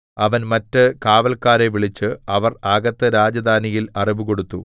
അവൻ മറ്റ് കാവല്ക്കാരെ വിളിച്ചു അവർ അകത്ത് രാജധാനിയിൽ അറിവുകൊടുത്തു